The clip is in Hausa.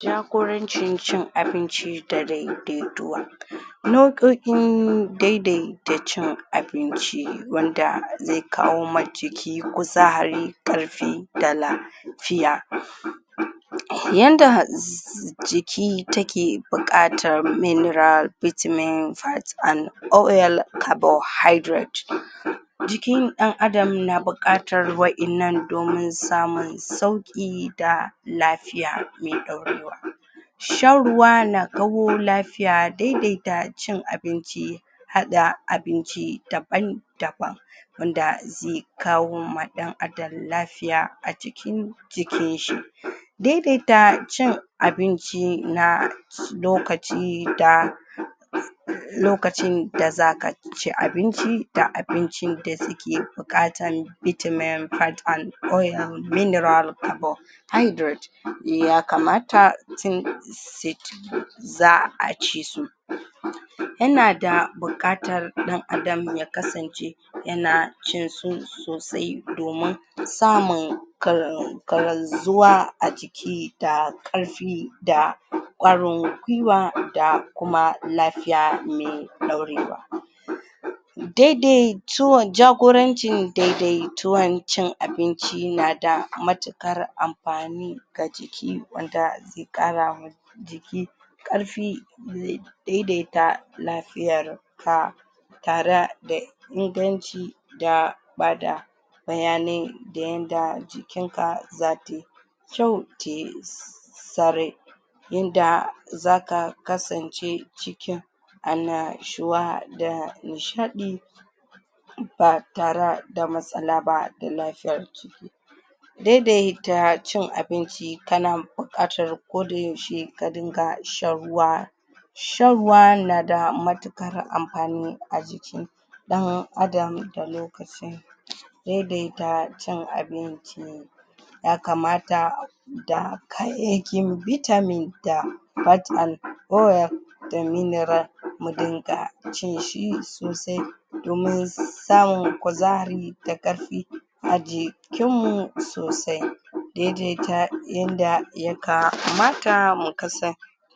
jagorancin cin abinci da dai-dai tuwa in dai-dai ta cin abinci wanda ya kawo ma jiki kuzari ƙarfi da la fiya yanda um jiki take buƙatar mineral vitamin, fat and oil carbohydrate jikin ɗan Adam na buƙatar wa'innan domin samun sauƙi da lafiya me ɗaurewa shan ruwa na lafi ya dai-daita cin abinci haɗa abinci daban daban wanda ze kawo ma ɗan Adam lafiya a cikin jikin shi dai-daita cin abinci na lokaci lokacin da zaka ci abinci da abincin da suke buƙatan vitamin, fat and oil, mineral, carbohydrate ya kamata tun za'a ci su yana da buƙatar ɗan Adam ya kasance yana cin su sosai domin samun a jiki da ƙarfi da ƙwarin gwiwa da kuma lafiya me ɗaurewa dai-dai jagorancin dai-daituwan cin abinci na da matuƙar amfani ga jiki wanda ze ƙarama jiki ƙarfi ze dai-daita lafiyar ka tara da inganci da ba da bayanai da yanda jikin ka zata yi kyau tayi yanda zaka kasance cikin anashuwa da nishaɗi ba tara da matsala ba da lafiyar jiki dai-daita cin abinci tana buƙatar ko da yaushe ka dinga shan ruwa, shan ruwa na da matuƙar amfani a jiki ɗan Adam da dai-dai ta cin abinci ya kamata da kayayyakin vitamin da fat and oil da mineral mu dinga cin shi sosai domin samun kuzari da ƙarfi a jikin mu sosai dai-daita yanda ya kamata mu kasan.